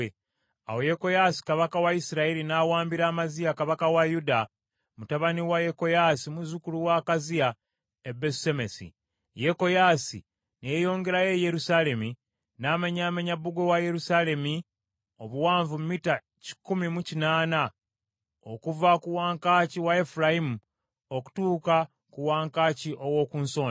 Awo Yekoyaasi kabaka wa Isirayiri n’awambira Amaziya kabaka wa Yuda mutabani wa Yekoyaasi muzzukulu wa Akaziya e Besusemesi; Yekoyaasi ne yeeyongerayo e Yerusaalemi, n’amenyaamenya bbugwe wa Yerusaalemi, obuwanvu mita kikumi mu kinaana, okuva ku wankaaki wa Efulayimu okutuuka ku wankaaki ow’oku Nsonda.